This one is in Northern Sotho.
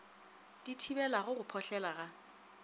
di thibelago go phohlela ga